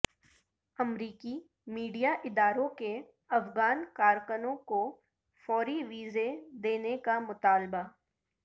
امریکی میڈیا اداروں کے افغان کارکنوں کو فوری ویزے دینے کا مطالبہ